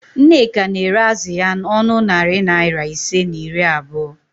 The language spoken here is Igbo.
Nneka na-ere azụ ya n'ọnụ narị naịra ise na iri abụo